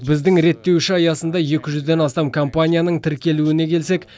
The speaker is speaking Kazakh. біздің реттеуші аясында екі жүзден астам компанияның тіркелуіне келсек